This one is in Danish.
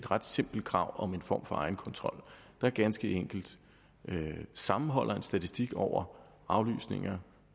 ret simpelt krav om en form for egenkontrol der ganske enkelt sammenholder en statistik over aflysninger